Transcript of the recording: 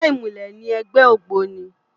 Ègbè imúlè ni ègbè ógbóni